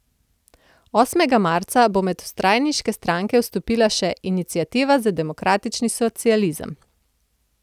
Osmega marca bo med vstajniške stranke vstopila še Iniciativa za demokratični socializem.